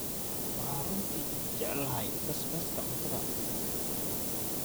Waxaan runtii jeclahay basbaaska cuntada.